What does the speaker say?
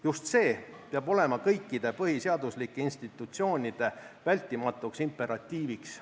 Just see peab olema kõikide põhiseaduslike institutsioonide vältimatuks imperatiiviks.